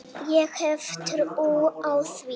Ég hef trú á því.